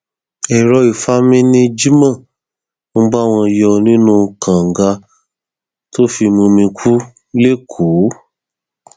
èrò ìfami ni jimo ń bá wọn yọ nínú kànga tó fi mumi kù lẹkọọ